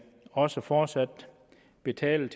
også fortsat betale